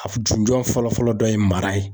A ju jɔ fɔlɔ fɔlɔ dɔ ye mara ye.